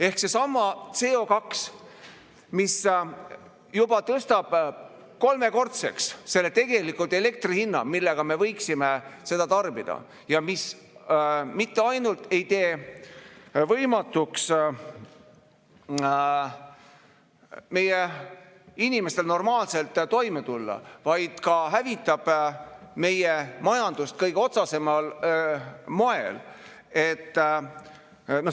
Ehk seesama CO2, mis juba tõstab kolmekordseks selle elektri hinna, millega me võiksime seda tarbida ja mis mitte ainult ei tee võimatuks meie inimestel normaalselt toime tulla, vaid ka hävitab meie majandust kõige otsesemal moel.